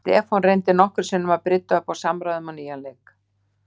Stefán reyndi nokkrum sinnum að brydda upp á samræðum á nýjan leik.